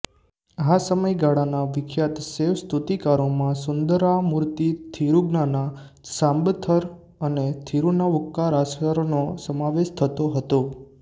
આ સમયગાળાના વિખ્યાત શૈવ સ્તુતિકારોમાં સુંદરામૂર્તિ થિરુજ્ઞાના સાંબંથર અને થિરુનાવુક્કરાસરનો સમાવેશ થતો હતો